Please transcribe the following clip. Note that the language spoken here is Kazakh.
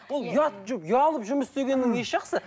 ол ұят ұялып жұмыс істегеннің несі жақсы